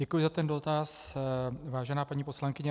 Děkuji za ten dotaz, vážená paní poslankyně.